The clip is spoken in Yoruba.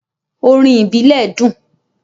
“Orin ìbílẹ̀” dùn.